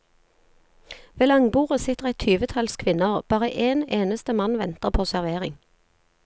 Ved langbordet sitter et tyvetalls kvinner, bare én eneste mann venter på servering.